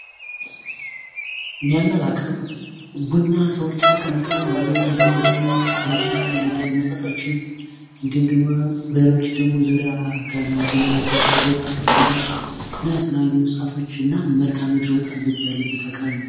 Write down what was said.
የሚያመላክተው ቡና ሰዎች ተቀምጠው፣ እንዲሁም ደሞ ስንቄ ሚባሉ መጠጦችም፣ እንዲሁም ደሞ በሬዎች ከቡና ቤቱ በስተጀርባ ተጠምደው እና የተለያዩ እንስሳቶች እና መልከአምድር ወጣ ገባ ያለበት አከባቢ ነው።